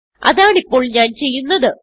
അതാണിപ്പോൾ ഞാൻ ചെയ്യുന്നത്